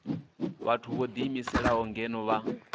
vhathu vho ḓiimiselaho ngeno vha